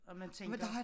Og man tænker